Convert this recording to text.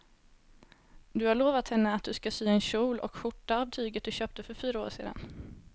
Du har lovat henne att du ska sy en kjol och skjorta av tyget du köpte för fyra år sedan.